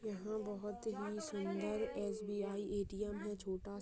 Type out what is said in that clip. यहाँ बहुत ही सुन्दर एस_बी_आइ ए_टी_एम है छोटा --